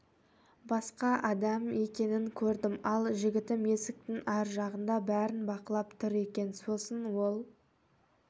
басқа адам екенін көрдім ал жігітім есіктің ар жағында бәрін бақылап тұр екен сосын ол